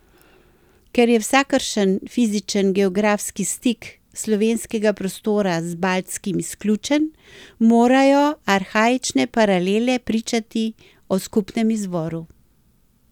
Ker je vsakršen fizičen geografski stik slovenskega prostora z baltskim izključen, morajo arhaične paralele pričati o skupnem izvoru.